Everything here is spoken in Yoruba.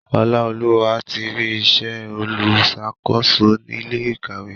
Olaoluwa tí rí ìṣe oluṣakoso ilé ìkàwé.